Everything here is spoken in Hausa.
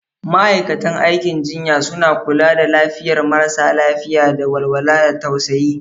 Ma'aikatan aikin jinya suna kula da lafiyar marasa lafiya da walwala da tausayi.